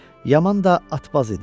Yaman da atbaz idi.